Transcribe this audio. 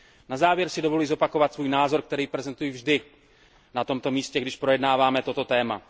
Na závěr si dovoluji zopakovat svůj názor, který prezentuji vždy na tomto místě, když projednáváme toto téma.